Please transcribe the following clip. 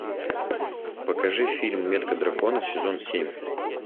покажи фильм метка дракона сезон семь